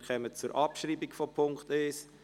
Wir kommen zur Abschreibung des Punkts 1.